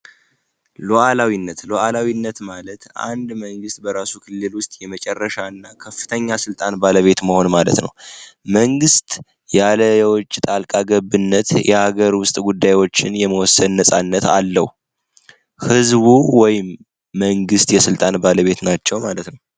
ሎዓላዊነት ሎዓላዊነት ማለት አንድ መንግሥት በራሱ ክሌል ውስጥ የመጨረሻ እና ከፍተኛ ሥልጣን ባለቤት መሆን ማለት ነው መንግሥት ያለዎች ጣልቃገብነት የሀገር ውስጥ ጉዳዮችን የመወሰን ነፃነት አለው ሕዝቡ ወይም መንግስት የሥልጣን ባለቤት ናቸው ማለት ነው።